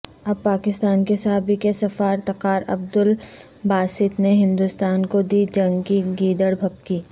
اب پاکستان کے سابق سفارتکارعبدالباسط نے ہندوستان کو دی جنگ کی گیدڑبھبکی